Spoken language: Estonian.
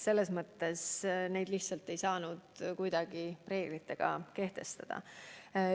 Neid lihtsalt ei saanud kuidagi reeglitena kehtestada.